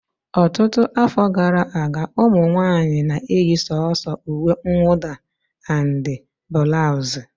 Ọtụtụ afọ gara aga, ụmụ nwanyị na-eyi sọ̀so uwe mwụda and bulausi